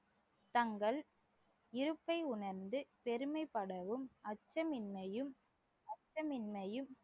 தங்கள் இருப்பை உணர்ந்து பெருமைப்படவும் அச்சமின்மையும் அச்சமின்மையும்